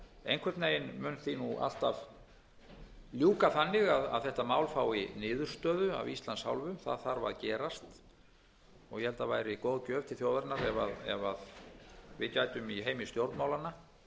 einhvern veginn mun því nú alltaf ljúka þannig að þetta mál fái niðurstöðu af íslands hálfu það þarf að gerast og ég held að það væri góð gjöf til þjóðarinnar ef við gætum í heimi stjórnmálanna sameinast um að reyna að klára